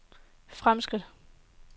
fremskridt